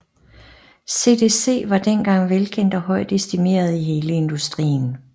CDC var dengang velkendt og høj estimeret i hele industrien